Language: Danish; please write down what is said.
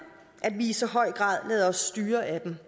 at vi i så høj grad lader os styre af dem